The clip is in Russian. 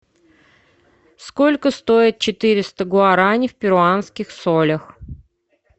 сколько стоит четыреста гуарани в перуанских солях